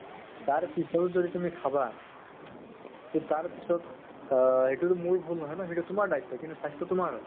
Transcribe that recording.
তাৰপিছতো যদি তুমি খাবা , তʼ তাৰ পিছত আ সেইটোতো মোৰ ভুল নহয় ন ? সেইতো তোমাৰ দায়িত্ব, কিনো স্বাস্থ্য় তোমাৰ হয় ।